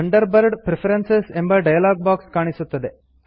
Thunderbird preferences ಎಂಬ dialog box ಕಾಣಿಸುತ್ತದೆ